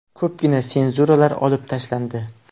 Ko‘pgina senzuralar olib tashlandi.